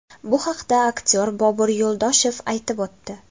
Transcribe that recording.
Bu haqda aktyor Bobur Yo‘ldoshev aytib o‘tdi.